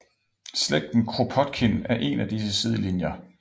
Slægten Kropotkin er én af disse sidelinjer